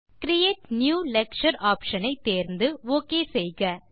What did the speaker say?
create new lecture option ஐ தேர்ந்து ok செய்க